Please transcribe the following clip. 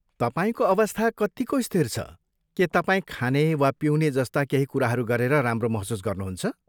तपाईँको अवस्था कत्तिको स्थिर छ, के तपाईँ खाने वा पिउने जस्ता केही कुराहरू गरेर राम्रो महसुस गर्नुहुन्छ?